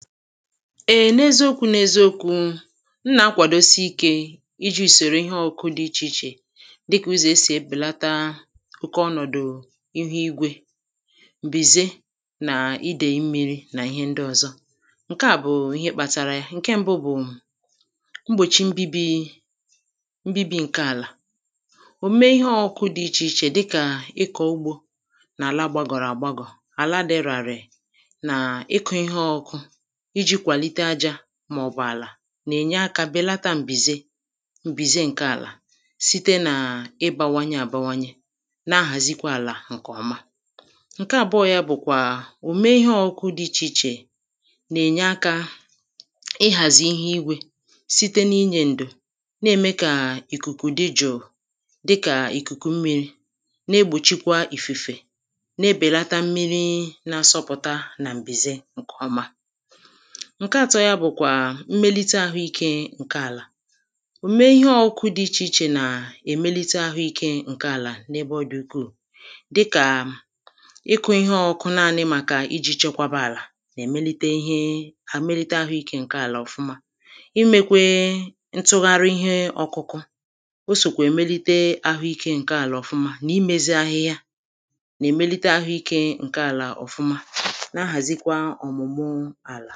Eè neziokwu n’eziokwu m nà-akwàdosi ikė iji ùsòrò ihe ọkụ dị ichè ichè dịkà ụzọ̀ esì ebèlata oke ọnọ̀dụ̀ ihu igwė m̀bìze nà idèì mmiri nà ihe ndị ọ̀zọ ǹke à bụ̀ ihe kpatara ya ǹke mbu bụ̀ mgbòchi mbibi [paues] mbi̇bi̇ ǹke àlà òme ihe ọkụkụ dị ichè ichè dịkà ịkọ̀ ugbȯ nà-àla gbàgọ̀rọ̀ àgbagọ̀ àla dị ràrị̀ nà ịkụ̇ ihe ọkụ iji kwalite aja maọ̀bụ̀ àlà nà-ènye akȧ bèlata m̀bìze m̀bìze ǹke àlà site n’ịbȧwanye àbawanye na-ahàzikwa àlà ǹkèọma ǹke àbụọ̇ yȧ bụ̀kwà òme ihe ọ̇kụ̇kụ dị ichè ichè nà-ènye akȧ ịhàzị ihe igwė site n’inyė ǹdo na-ème kà ìkùkù dịjụ̀ dịkà ìkùkù mmiri na-egbòchikwa ìfùfè na-ebèlata mmiri nà-asọpụ̀ta nà m̀bìze ǹkèọma ǹke àtọ ya bụ̀kwà mmelite ahụikė ǹke àlà òme ihe ọkụkụ dị ichè ichè nà èmelite ahụikė ǹke àlà n’ebe ọ dị̀ ukwuù dịkà ịkụ̇ ihe ọkụkụ naanị màkà iji chekwaba àlà nà-èmelite ihe na emlite ahụikė ǹke àlà ọ̀fụma imekwe ntụgharị ihe ọkụkụ osòkwà èmelite ahụikė ǹke àlà ọ̀fụma nà imezi ahịhịa nà-èmelite ahụikė ǹke àlà ọ̀fụma na-ahàzịkwa ọ̀mụ̀mụ̀